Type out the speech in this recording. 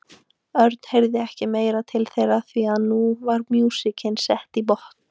Örn heyrði ekki meira til þeirra því að nú var músíkin sett í botn.